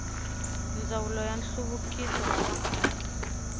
ndzawulo ya nhluvukiso wa vaaki